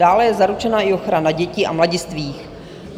Dále je zaručena i ochrana dětí a mladistvých.